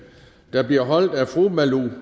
der bliver holdt af fru malou